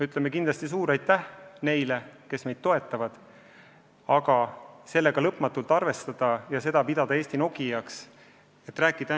Ütleme kindlasti suure aitäh neile, kes meid toetavad, aga sellega lõpmatult kaua arvestada ja seda Eesti Nokiaks pidada ei saa.